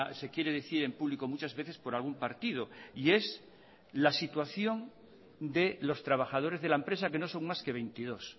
se quiere decir en público muchas veces por algún partido y es la situación de los trabajadores de la empresa que no son más que veintidós